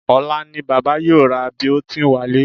Ọ̀la ni bàbá yóò ra Biotin wálé